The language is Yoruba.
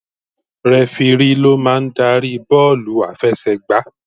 Rẹfirí ló máa ń darí bọ́ọ̀lù àfẹsẹ̀ gbà.